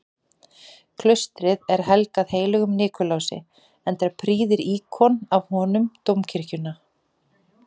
Klaustrið er helgað heilögum Nikulási, enda prýðir íkon af honum dómkirkjuna.